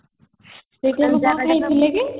ସେଇଠି ଆମେ କ'ଣ ଖାଇଥିଲେ କି ?